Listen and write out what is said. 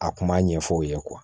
A kuma ɲɛfɔ u ye